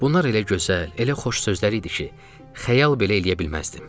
Bunlar elə gözəl, elə xoş sözlər idi ki, xəyal belə eləyə bilməzdim.